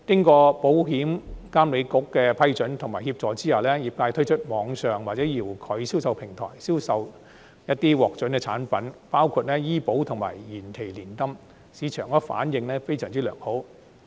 在保險業監管局的批准及協助下，業界推出網上或遙距銷售平台，銷售一些獲准的產品，包括醫保及延期年金，市場反應非常良好。